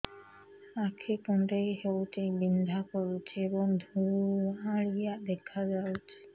ଆଖି କୁଂଡେଇ ହେଉଛି ବିଂଧା କରୁଛି ଏବଂ ଧୁଁଆଳିଆ ଦେଖାଯାଉଛି